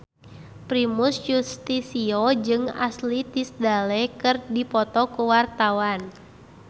Primus Yustisio jeung Ashley Tisdale keur dipoto ku wartawan